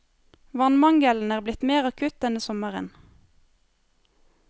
Vannmangelen er blitt mer akutt denne sommeren.